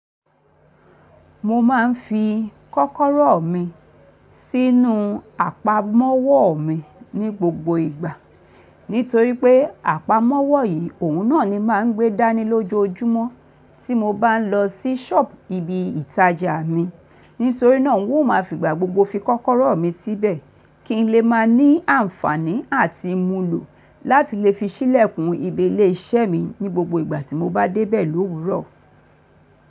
Mo máa ń fi kọ́kọ́rọ́ mi sínú àpamọ́wọ́ mi ní gbogbo ìgbà. Nítorí pé àpamọ́wọ́ yìí òun náà ni máa ń gbé dání lójoojúmọ́ tí mo bá ń lọ sí ṣọ́ọ̀bù ibi ìtajà mi. Nítorí náà ń òún máa figbà gbogbo fi kọ́kọ́rọ́ mi síbẹ̀ kí n lè máa ní àǹfààní àti múlò láti lè fi ṣí lẹ̀kùn ìbí ilẹ̀ iṣẹ́ mi ní gbogbo ìgbà tí mo bá dé bẹ̀ ló wuúrọ̀.